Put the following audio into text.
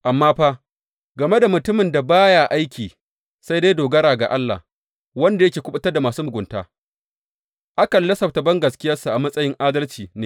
Amma fa, game da mutumin da ba ya aiki sai dai dogara ga Allah wanda yake kuɓutar da masu mugunta, akan lissafta bangaskiyarsa a matsayin adalci ne.